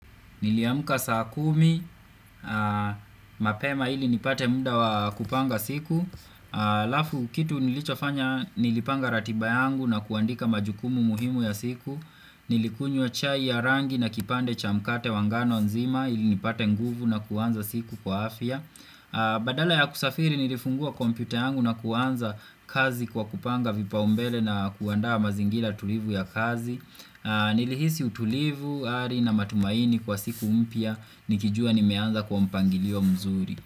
Niliamka saa kumi, mapema ili nipate muda wa kupanga siku Lafu kitu nilichofanya nilipanga ratiba yangu na kuandika majukumu muhimu ya siku Nilikunywa chai ya rangi na kipande cha mkate wa ngano nzima ili nipate nguvu na kuanza siku kwa afya Badala ya kusafiri nilifungua kompyuta yangu na kuanza kazi kwa kupanga vipa umbele na kuandaa mazingira tulivu ya kazi Nilihisi utulivu, ari na matumaini kwa siku mpya Nikijua nimeanza kwa mpangilio mzuri.